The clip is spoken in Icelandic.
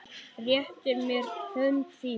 Réttir mér hönd þína.